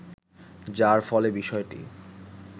যার ফলে বিষয়টি